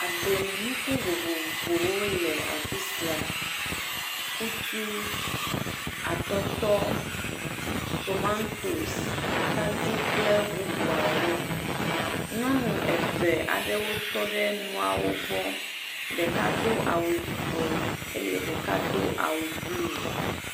Agblemenuku vovovowo le afi sia kutu, atɔtɔ, tomatos kple bubuawo. Nyɔnu eve aɖewo tɔ ɖe nuawo gbɔ, ɖeka do awu yibɔ eye ɖeka do awu blu.